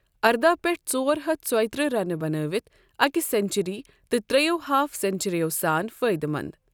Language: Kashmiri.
ارداہ پیٹھ ژور ہتھ ژۄیہِ ترٛہ رنہٕ بنٲوِتھ اكہِ سنچری تہٕ ترٛٮ۪و ہاف سنچرٮ۪و سان فایدٕ مند ۔